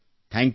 thank you